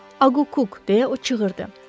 Aqquk, deyə o çığırdı.